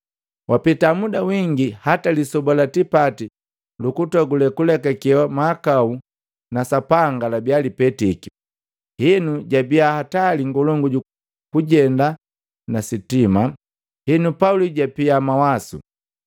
Wapeta muda wingi, hata Lisoba la tipati lukutogule lukulekakewa mahakau na Sapanga labia lipetiki. Henu jabia hatali ngolongu kujenda ni sitima. Henu, Pauli japia mawasu,